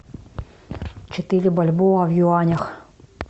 четыре бальбоа в юанях